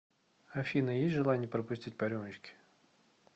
афина есть желание пропустить по рюмочке